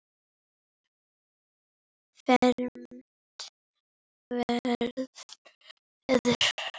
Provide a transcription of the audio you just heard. fermt verður.